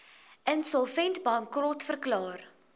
insolvent bankrot verklaar